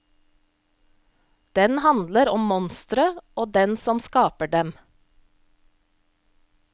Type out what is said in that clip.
Den handler om monstre og den som skaper dem.